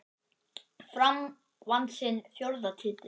Fram vann sinn fjórða titil.